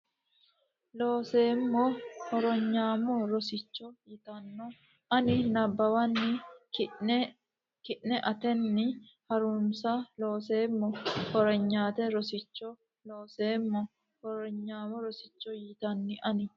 Looseemmo Hornyaamo Rosicho yitanno ani nabbawanna ki ne la atenni ha runse Looseemmo Hornyaamo Rosicho Looseemmo Hornyaamo Rosicho yitanno ani.